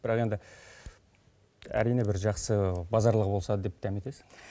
бірақ енді әрине бір жақсы базарлығы болса деп дәметесің